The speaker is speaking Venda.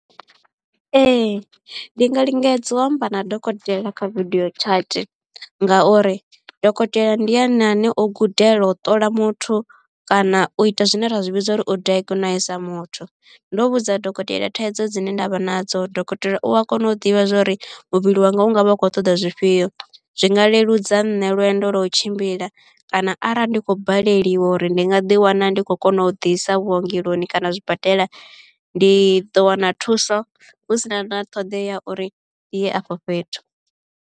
Ee ndi nga lingedza u amba na dokotela kha video chat ngauri dokotela ndi ene ane o gudela u ṱola muthu kana u ita zwine ra zwi vhidza uri o diagnose muthu. Ndo vhudza dokotela thaidzo dzine ndavha nadzo dokotela u a kona u ḓivha zwa uri muvhili wanga u nga vha u khou ṱoḓa zwifhio. Zwinga leludza nṋe lwendo lwa u tshimbila kana arali ndi khou baleliwa uri ndi nga ḓi wana ndi khou kona u ḓisa vhuongeloni kana zwibadela ndi ḓo wana thuso hu si na na ṱhoḓea ya uri ndi ye afho fhethu.